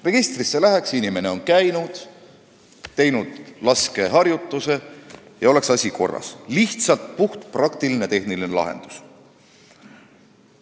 Registrisse läheks kirja, et inimene on seal käinud ja teinud laskeharjutuse, ning asi oleks korras – lihtsalt puhtpraktiline tehniline lahendus.